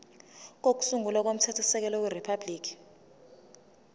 kokusungula komthethosisekelo weriphabhuliki